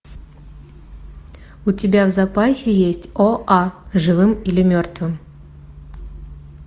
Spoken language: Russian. у тебя в запасе есть о а живым или мертвым